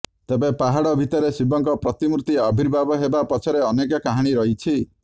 ତେବେ ପାହାଡ଼ ଭିତରେ ଶିବଙ୍କ ପ୍ରତିମୂର୍ତ୍ତି ଆର୍ବିଭାବ ହେବା ପଛରେ ଅନେକ କାହାଣୀ ରହିଛି